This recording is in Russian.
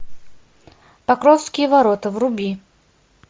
покровские ворота вруби